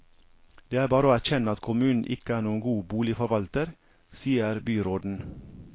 Det er bare å erkjenne at kommunen ikke er noen god boligforvalter, sier byråden.